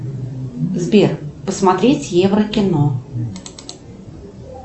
сбер посмотреть еврокино